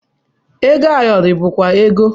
Ego ayọrọ bụkwa ego